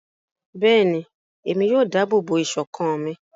Bẹẹni, Emi yoo ṣetọju iṣọkan mi